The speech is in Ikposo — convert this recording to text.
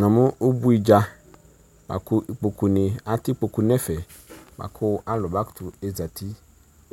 Namʋ ʋbuidza bʋakʋ atɛ ikpokʋ nʋ ɛfɛ bʋakʋ alʋ bakʋtʋ ezati